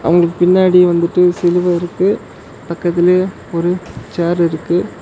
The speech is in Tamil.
உனக்கு பின்னாடி வந்துட்டு சிலுவ இருக்கு பக்கத்துலையே ஒரு சேர் இருக்கு.